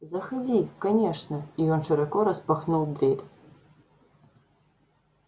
заходи конечно и он широко распахнул дверь